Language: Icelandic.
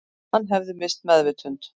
Hann hefði misst meðvitund